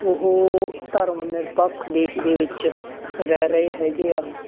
ਉਹ ਧਰਮ ਨਿਰਪੱਖ ਦੇਸ ਦੇ ਵਿੱਚ ਰਹਿ ਰਹੇ ਹੈਗੇ ਆ,